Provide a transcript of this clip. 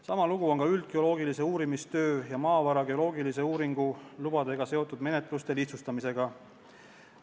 Sama lugu on ka üldgeoloogilise uurimistöö ja maavara geoloogilise uuringu lubade menetluste lihtsustamisega.